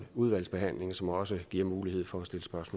udvalgsbehandling som også giver mulighed for